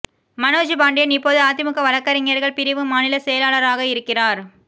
மனோஜ் பாண்டியன் இப்போது அதிமுக வழக்கறிஞர்கள் பிரிவு மாநில செயலராக இருக்கிறார்